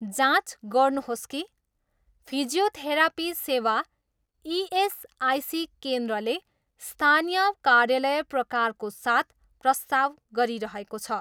जाँच गर्नुहोस् कि फिजियोथेरापी सेवा इएसआइसी केन्द्रले स्थानीय कार्यालय प्रकारको साथ प्रस्ताव गरिरहेको छ।